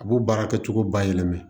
A b'o baara kɛcogo bayɛlɛma